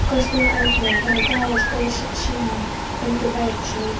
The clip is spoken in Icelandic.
Kösturinn var eldiviðarforði Daða og stóð sunnan undir bæjarhúsunum.